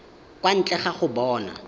kwa ntle ga go bona